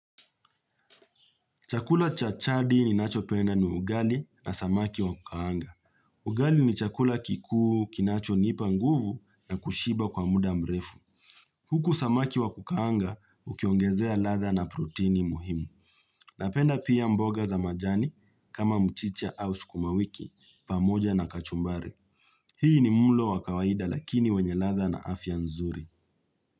Chakula cha chadi ninacho penda ni ugali na samaki wa kukaanga. Ugali ni chakula kikuu kinacho nipa nguvu na kushiba kwa muda mrefu. Huku samaki wa kukaanga ukiongezea latha na proteini muhimu. Napenda pia mboga za majani kama mchicha au sukuma wiki pamoja na kachumbari. Hii ni mlo wa kawaida lakini wenye latha na afya nzuri.